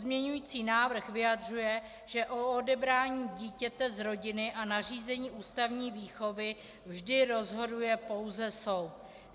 Pozměňující návrh vyjadřuje, že o odebrání dítěte z rodiny a nařízení ústavní výchovy vždy rozhoduje pouze soud.